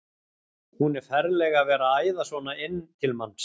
Hún er ferleg að vera að æða svona inn til manns!